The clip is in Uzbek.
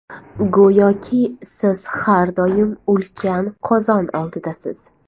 Go‘yoki siz har doim ulkan qozon oldidasiz.